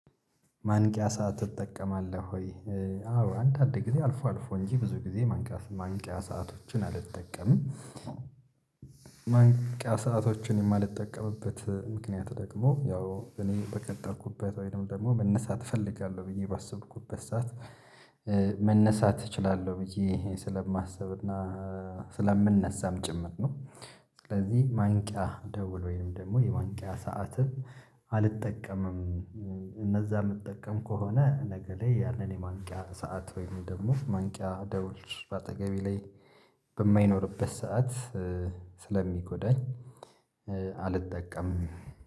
ማንቂያ ሰዓት እጠቀማለህ ወይ? አዎ አንዳንድ ጊዜ አልፎ አልፎ እንጂ ብዙ ጊዜ ማንቂያ ሰዓት ማንቂያ ሰአቶችን አልጠቀምም። ማንቂያ ሰአቶችን የማልጠቀምበት ምክንያት ደግሞ ያው እኔ በቀጠርኩበት ወይንም ደግሞ መነሳት እፈልጋለሁ ብዬ ባሰብኩበት ሰዓት መነሳት እችላለሁ ብዬ ስለማስብና ስለምነሳም ጭምር ነው። ስለዚህ ማንቂያ ደውል ወይም ደግሞ የማንቂያ ሰዓትን አልጠቀምም። እንደዛ የምጠቀም ከሆነ ነገ ላይ ያንን የማንቂያ ሰዓት ወይም ደግሞ ማንቂያ ደውል በአጠገቤ ላይ በማይኖርበት ሰዓት ስለሚጎዳኝ አልጠቀምም